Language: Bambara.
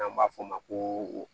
N'an b'a fɔ o ma ko